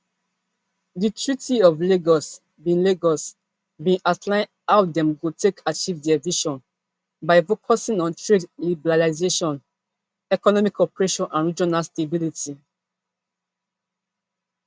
di treaty of lagos bin lagos bin outline how dem go take achieve dia vision by focusing on trade liberalisation economic cooperation and regional stability